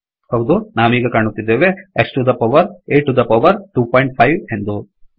ಹೌದು ನಾವೀಗ ಕಾಣುತ್ತಿದ್ದೇವೆ X to the power A to the power 25 ಎಂದು